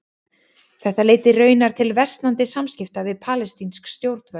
Þetta leiddi raunar til versnandi samskipta við palestínsk stjórnvöld.